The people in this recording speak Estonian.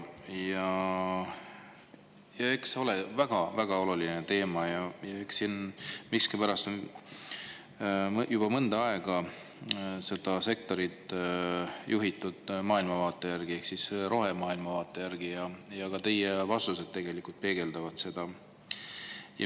See on väga-väga oluline teema, aga miskipärast on juba mõnda aega seda sektorit juhitud maailmavaate järgi ehk rohemaailmavaate järgi ja ka teie vastused peegeldavad seda.